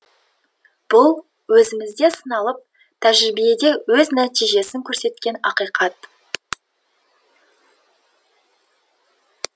бұл өзімізде сыналып тәжірибеде өз нәтижесін көрсеткен ақиқат